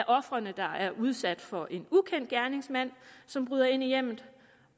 ofre der er udsat for en ukendt gerningsmand som bryder ind i hjemmet